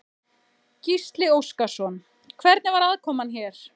Gísli Óskarsson: Hvernig var aðkoman hér?